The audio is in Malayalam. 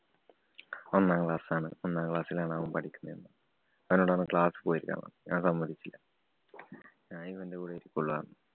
ഒന്നാം class ആണ്. ഒന്നാം class ലാണ് അവന്‍ പഠിക്കുന്നേ എന്നുപറഞ്ഞു. അപ്പന്നോട് പറഞ്ഞു. class ല്‍ പോയി ഇരിക്കാന്‍ പറഞ്ഞു. ഞാന്‍ സമ്മതിച്ചില്ല ഞാന്‍ ഇവന്‍റെ കൂടെ ഇരിക്കയുള്ളൂ എന്നുപറഞ്ഞു.